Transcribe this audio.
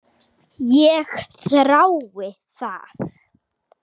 Ég þrái það.